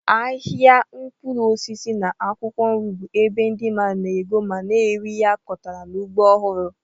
Ahịa mkpụrụ osisi na akwụkwọ nri bụ ebe ndị mmadụ na-ego ma na-ere ihe a kọtara n'ugbo ọhụrụ.